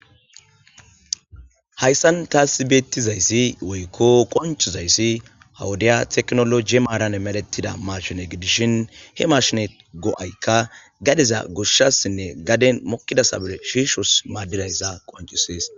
Hayssan tas bettizaysi woykko qonccizayssi ha wodde tekkinolojje maran medhdhetida mashshinne giddishin he mashshine go'aykka gaddeza goshshasine gaddezan mookida sabile shishos maadizayssa qonccises.